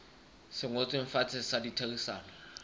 se ngotsweng fatshe sa ditherisano